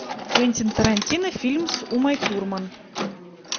квентин тарантино фильм с умой турман